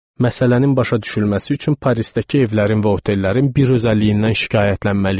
Məsələnin başa düşülməsi üçün Parisdəki evlərin və otellərin bir özəlliyindən şikayətlənməliyəm.